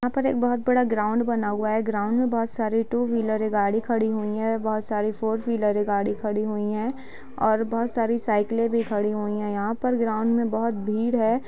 यहां पर एक बहुत बड़ा ग्राउंड बना हुआ है । ग्राउंड में बहुत सारे टू व्हीलरें गाड़ी खड़ी हुई हैं और बहुत सारी फोर व्हीलरें गाड़ी खड़ी हुई हैं और बहुत सारी साइकलें भी खड़ी हुई हैं यहां पर ग्राउंड में बहुत भीड़ है ।